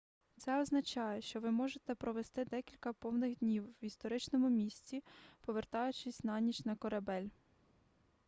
це означає що ви можете провести декілька повних днів в історичному місці повертаючись на ніч на корабель